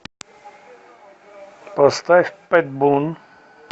поставь пэт бун